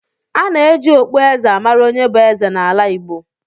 A na-eji okpueze a mara onye bụ eze n’ala Igbo